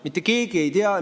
Mitte keegi ei tea.